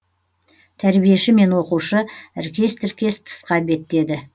тәрбиеші мен оқушы іркес тіркес тысқа беттеді